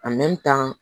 tan